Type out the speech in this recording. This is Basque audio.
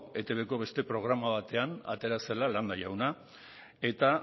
etbko beste programa batean atera zela landa jauna eta